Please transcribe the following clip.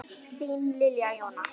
Þín Lilja Jóna.